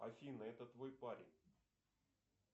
афина это твой парень